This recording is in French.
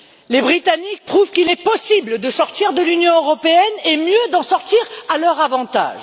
Les Britanniques prouvent qu'il est possible de sortir de l'Union européenne et, mieux, d'en sortir à leur avantage.